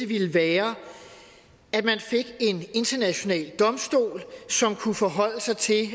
ville være at man fik en international domstol som kunne forholde sig til